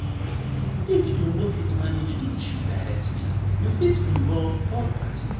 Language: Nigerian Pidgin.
if you no fit manage di issue directly you fit involve third party